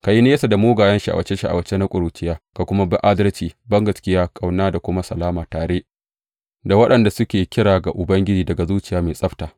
Ka yi nesa da mugayen sha’awace sha’awace na ƙuruciya, ka kuma bi adalci, bangaskiya, ƙauna da kuma salama, tare da waɗanda suke kira ga Ubangiji daga zuciya mai tsabta.